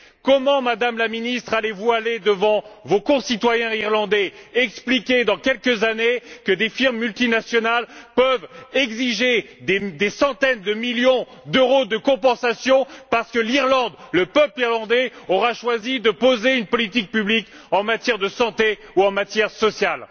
Comment, Madame la Ministre, allez vous aller devant vos concitoyens irlandais expliquer, dans quelques années, que des firmes multinationales peuvent exiger des centaines de millions d'euros de compensation parce que l'Irlande, le peuple irlandais, aura choisi de mettre en place une politique publique en matière de santé ou en matière sociale?